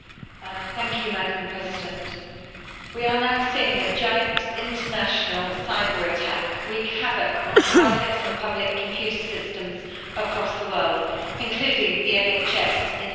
Madam President, we are now seeing a giant, international cyber attack wreak havoc on private and public computer systems across the world, including the National Health Service in the UK.